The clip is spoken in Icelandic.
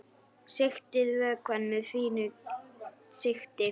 Sigtið vökvann með fínu sigti.